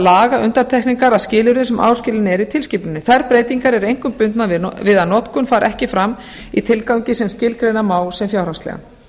laga undantekningar að skilyrðum sem áskilin eru í tilskipuninni þær breytingar eru einkum bundnar við að notkun fari ekki fram í tilgangi sem skilgreina má sem fjárhagslegan